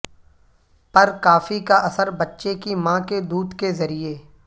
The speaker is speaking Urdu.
پر کافی کا اثر بچے کی ماں کے دودھ کے ذریعے